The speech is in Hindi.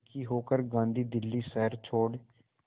दुखी होकर गांधी दिल्ली शहर छोड़